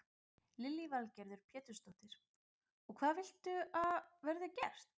Lillý Valgerður Pétursdóttir: Og hvað viltu að verði gert?